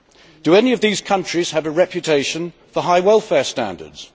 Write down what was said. Do any of these countries have a reputation for high welfare standards?